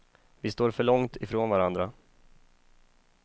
Vi står för långt ifrån varandra.